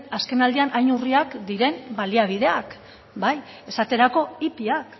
azkenaldian hain urriak diren baliabideak esate baterako ipiak